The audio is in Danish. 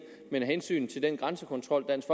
men af hensyn til den grænsekontrol dansk